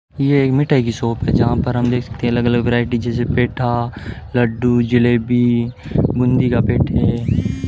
ये एक मिठाई की शॉप है जहां पर हम देख सकते है अलग अलग वैरायटी जैसे पेठा लड्डू जलेबी बूंदी का पेठे --